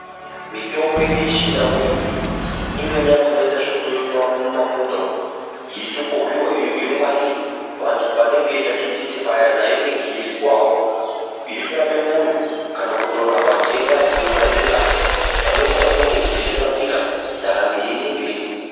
Mitombo yedu yeChiNdau iyi imweni yakona inoite zvekurimwa mumamunda umu yeitokohwiwa, yongwarirwa vantu pavanenga veirya dindindu paya nayo inenga yeiryiwawo yotorape mwoyo kana kutorapa ndenda dzinogare mungazi. Padoko padoko muntu uchitorapika, ndaramo yeiende mberi.